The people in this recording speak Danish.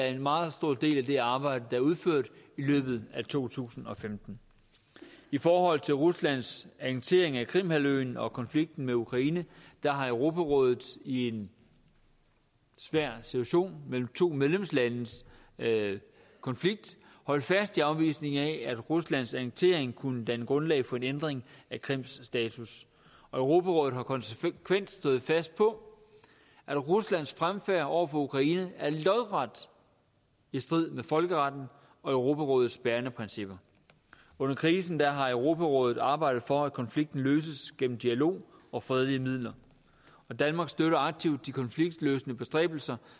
en meget stor del af det arbejde der er udført i løbet af to tusind og femten i forhold til ruslands annektering af krimhalvøen og konflikten med ukraine har europarådet i en svær situation med to medlemslandes konflikt holdt fast i afvisningen af at ruslands annektering kunne danne grundlag for en ændring af krims status og europarådet har konsekvent stået fast på at ruslands fremfærd over for ukraine er lodret i strid med folkeretten og europarådets bærende principper under krisen har europarådet arbejdet for at konflikten løses gennem dialog og med fredelige midler danmark støtter aktivt de konfliktløsende bestræbelser